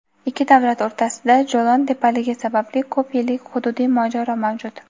Ikki davlat o‘rtasida Jo‘lon tepaligi sababli ko‘p yillik hududiy mojaro mavjud.